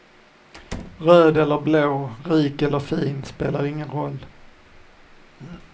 Röd eller blå, rik eller fin spelar ingen roll.